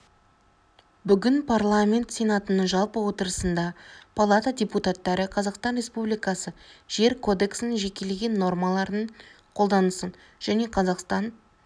бүгін парламент сенатының жалпы отырысында палата депутаттары қазақстан республикасы жер кодексінің жекелеген нормаларының қолданысын және қазақстан